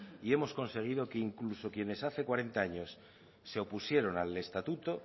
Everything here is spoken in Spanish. y hemos conseguido que incluso quienes hace cuarenta años se opusieron al estatuto